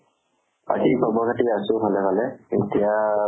বাকী খবৰ খাতি আছো ভালে ভালে। এতিয়া